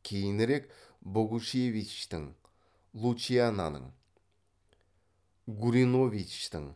кейінірек богушевичтің лучинаның гуриновичтің